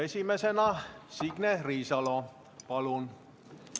Esimesena Signe Riisalo, palun!